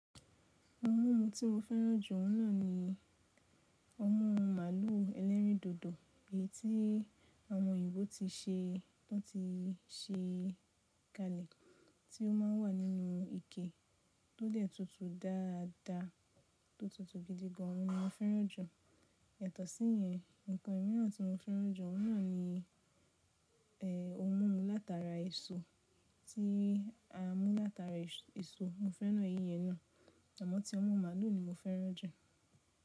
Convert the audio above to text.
Oun mímu tí mo fẹ́ràn jù ọ́n náà ni ọmu màlúù ẹlẹrìndòdò èyí tí àwọn òyìnbó ti ṣe, wọn ti ṣe kalẹ̀, tí ó má ń wà nínú ike tó dẹ̀ tutù dáadáa, tó tutù gidigan, òhun ni mo fẹ́ràn jù. Yatọ síyẹn, ǹkan mìíràn tí mo fẹ́ràn jù ọ́n náà ni e, ohun mímu látara èso, tí a mú látara èso. Mo fẹ́ràn eyi yẹn náà, àmọ́ ti ohun mímu màlúù ni mo fẹ́ràn jù.